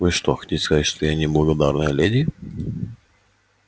вы что хотите сказать что я неблагородная леди